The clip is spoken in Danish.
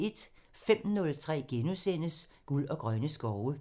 05:03: Guld og grønne skove *